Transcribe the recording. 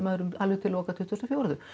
alveg til loka tuttugustu og fjórðu